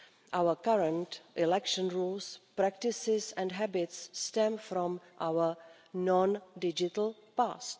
Our current election rules, practices and habits stem from our non-digital past.